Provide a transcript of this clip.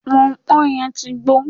pọnpọn yẹn ti gbó